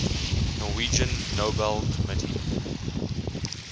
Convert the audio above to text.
norwegian nobel committee